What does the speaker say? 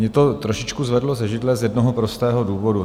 Mě to trošičku zvedlo ze židle z jednoho prostého důvodu.